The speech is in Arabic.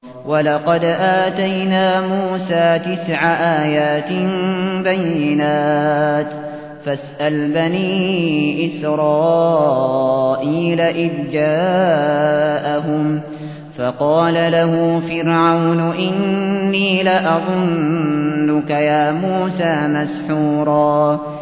وَلَقَدْ آتَيْنَا مُوسَىٰ تِسْعَ آيَاتٍ بَيِّنَاتٍ ۖ فَاسْأَلْ بَنِي إِسْرَائِيلَ إِذْ جَاءَهُمْ فَقَالَ لَهُ فِرْعَوْنُ إِنِّي لَأَظُنُّكَ يَا مُوسَىٰ مَسْحُورًا